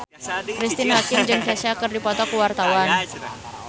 Cristine Hakim jeung Kesha keur dipoto ku wartawan